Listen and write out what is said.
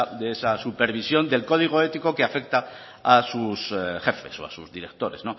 de esa supervisión del código ético que afecta a sus jefes o a sus directores